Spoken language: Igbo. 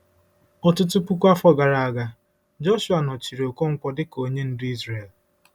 Ọtụtụ puku afọ gara aga, Jọshụa nọchiri Okonkwo dị ka onye ndu Izrel.